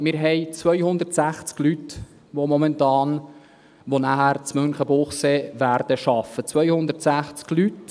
Wir haben 260 Leute, die nachher in Münchenbuchsee arbeiten werden – 260 Leute.